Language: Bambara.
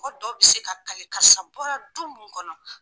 Mɔgɔ dɔw bɛ se ka kalile karisa bɔra du min kɔnɔ